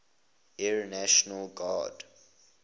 air national guard